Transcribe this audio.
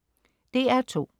DR2: